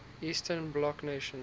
eastern bloc nations